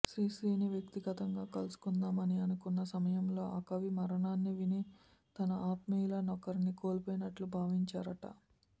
శ్రీశ్రీని వ్యక్తిగతంగా కలుసుకొందామని అనుకొన్న సమయంలో ఆ కవి మరణాన్ని విని తన ఆత్మీయుల నొకరిని కోల్పోయినట్లు భావించారట